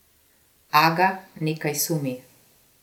Aga nekaj sumi.